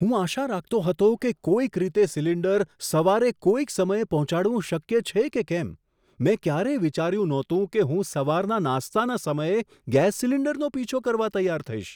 હું આશા રાખતો હતો કે કોઈક રીતે સિલિન્ડર સવારે કોઈક સમયે પહોંચાડવું શક્ય છે કે કેમ. મેં ક્યારેય વિચાર્યું નહોતું કે હું સવારના નાસ્તાના સમયે ગેસ સિલિન્ડરનો પીછો કરવા તૈયાર થઈશ!